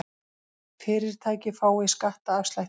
Fyrirtæki fái skattaafslætti